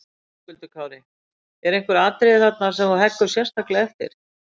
Höskuldur Kári: Eru einhver atriði þarna sem þú heggur sérstaklega eftir?